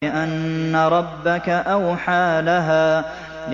بِأَنَّ رَبَّكَ أَوْحَىٰ لَهَا